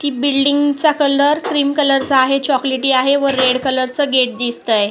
Building चा colour cream colour चा आहे चॉकलेटी आहे व रेड कलर च गेट दिसतय.